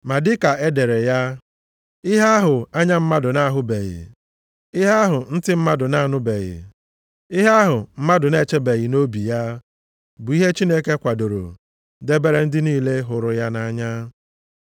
Ma dịka e dere ya, “Ihe ahụ anya mmadụ na-ahụbeghị, ihe ahụ ntị mmadụ na-anụbeghị, ihe ahụ mmadụ na-echebeghị nʼobi ya, bụ ihe Chineke kwadoro, debere ndị niile hụrụ ya nʼanya.” + 2:9 \+xt Aịz 64:4\+xt*